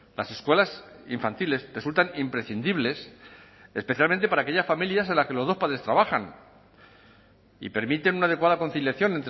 las escuelas infantiles resultan imprescindibles especialmente para aquellas familias en las que los dos padres trabajan y permiten una adecuada conciliación